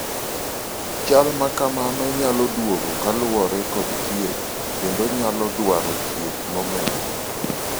chal makamano nyalo duogo kaluwore kod thieth kendo onyalo dwaro thieth momedore